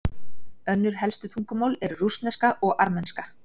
Önnur helstu tungumál eru rússneska og armenska.